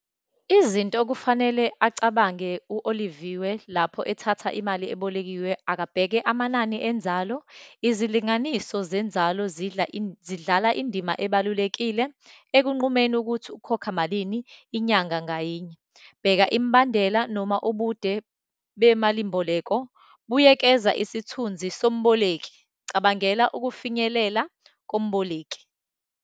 Izinto okufanele acabange u-Oliviwe lapho ethatha imali ebolekiwe, akabheke amanani enzalo. Izilinganiso zenzalo zidla, zidlala indima ebalulekile ekunqumeni ukuthi ukhokha malini inyanga ngayinye. Bheka imbandela, noma ubude bemalimboleko. Buyekeza isithunzi somboleki, cabangela ukufinyelela komboleki.